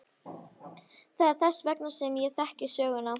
Það er þess vegna sem ég þekki söguna.